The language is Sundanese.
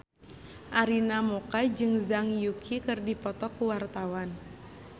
Arina Mocca jeung Zhang Yuqi keur dipoto ku wartawan